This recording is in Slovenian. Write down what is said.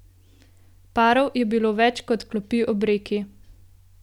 Parov je bilo več kot klopi ob reki.